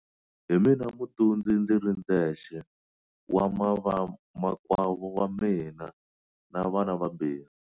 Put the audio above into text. Hi mina mutundzi ndzi ri ndzexe wa vamakwavo va mina na vana vambirhi.